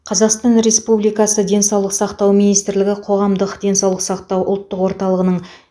қазақстан республикасы денсаулық сақтау министрлігі қоғамдық денсаулық сақтау ұлттық орталығының